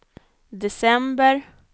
december